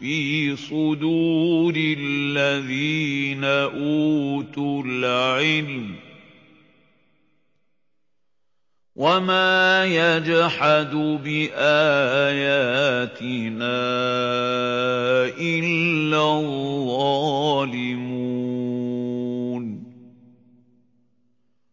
فِي صُدُورِ الَّذِينَ أُوتُوا الْعِلْمَ ۚ وَمَا يَجْحَدُ بِآيَاتِنَا إِلَّا الظَّالِمُونَ